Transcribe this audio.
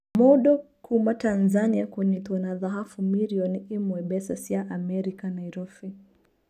Mũndũkuuma Tanzania kũnyitwo na thahabu mirioni ĩmwe mbeca cia amerika Nairobi.